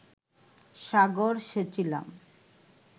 সাগর সেচিলাম